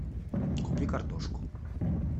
купи картошку